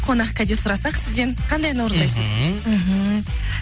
қонақ кәде сұрасақ сізден қандай ән орындайсыз мхм